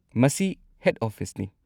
ꯃꯁꯤ ꯍꯦꯗ ꯑꯣꯐꯤꯁꯅꯤ꯫